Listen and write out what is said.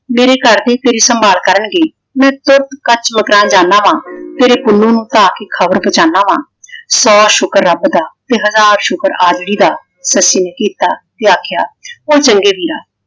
ਮੇਰੇ ਘਰ ਦੇ ਤੇਰੀ ਸੰਭਾਲ ਕਰਨਗੇ। ਮੈਂ ਤੁਰਕ ਕੱਚ ਮਕਾਨ ਜਾਂਦਾ ਵਾਂ । ਤੇਰੇ ਪੁੰਨੂੰ ਨੂੰ ਧਾਹ ਕੇ ਖ਼ਬਰ ਪੁੰਹਚਾਉਦਾ ਹਾਂ। ਸੋ ਸ਼ੁੱਕਰ ਰੱਬ ਦਾ ਤੇ ਹਜ਼ਾਰ ਸ਼ੁੱਕਰ ਆਜੜੀ ਦਾ ਸੱਸੀ ਨੇ ਕੀਤਾ ਤੇ ਆਖਿਆ ਉਹ ਚੰਗੇ ਵੀਰਾ